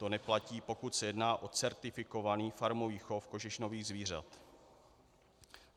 To neplatí, pokud se jedná o certifikovaný farmový chov kožešinových zvířat."